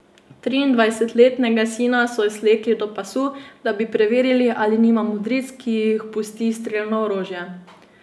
Triindvajsetletnega sina so slekli do pasu, da bi preverili, ali nima modric, ki jih pusti strelno orožje.